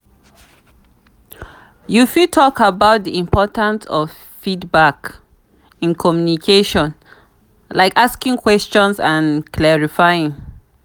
you fit talk about di importance of feedback in communication like asking questions and clarifying.